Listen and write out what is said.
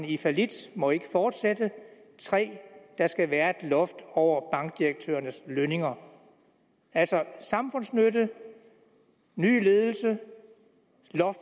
i fallit må ikke fortsætte og 3 der skal være et loft over bankdirektørernes lønninger altså samfundsnytte ny ledelse